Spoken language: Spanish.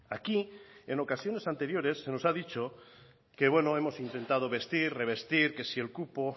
aquí en ocasiones anteriores se nos ha dicho que bueno hemos intentado vestir revestir que si el cupo